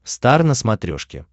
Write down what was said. стар на смотрешке